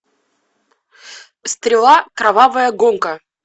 стрела кровавая гонка